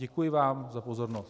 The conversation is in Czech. Děkuji vám za pozornost.